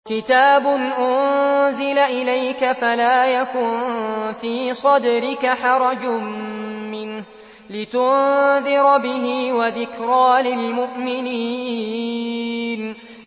كِتَابٌ أُنزِلَ إِلَيْكَ فَلَا يَكُن فِي صَدْرِكَ حَرَجٌ مِّنْهُ لِتُنذِرَ بِهِ وَذِكْرَىٰ لِلْمُؤْمِنِينَ